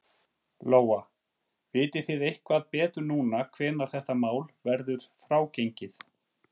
Lóa: Vitið þið eitthvað betur núna hvenær þetta mál verður frágengið?